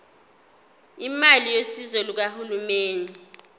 imali yosizo lukahulumeni